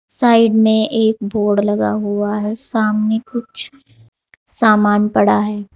Side में एक board लगा हुआ है सामने कुछ सामान पड़ा है।